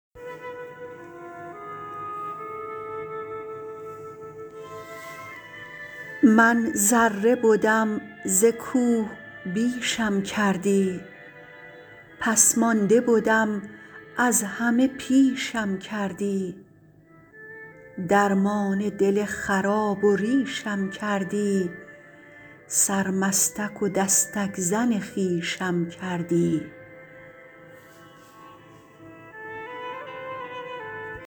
من ذره بدم ز کوه بیشم کردی پس مانده بدم از همه پیشم کردی درمان دل خراب و ریشم کردی سرمستک و دستک زن خویشم کردی